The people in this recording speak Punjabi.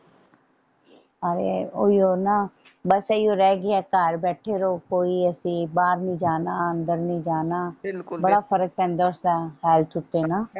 ਹਾਏ ਓਹੀਓ ਨਾ ਬਸ ਇਹੀ ਰਹਿ ਗਿਆ ਘਰ ਬੈਠੇ ਰਹੋ ਕੋਈ ਅਸੀਂ ਬਾਹਰ ਨਹੀਂ ਜਾਣਾ ਅੰਦਰ ਨਹੀਂ ਜਾਣਾ ਬਿਲਕੁਲ ਬੜਾ ਫਰਕ ਪੈਂਦਾ ਉਸ ਤਰਾਂ